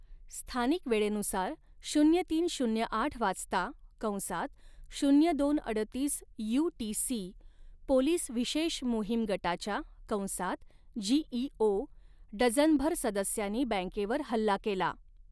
स्थानिक वेळेनुसार शून्य तीन शून्य आठ वाजता कंसात शून्य दोन अडतीस यूटीसी पोलीस विशेष मोहीम गटाच्या कंसात जीईओ डझनभर सदस्यांनी बँकेवर हल्ला केला.